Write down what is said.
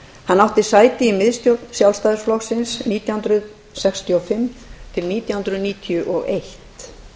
hann átti sæti í miðstjórn sjálfstæðisflokksins nítján hundruð sextíu og fimm til nítján hundruð níutíu og eitt